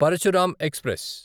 Parashuram express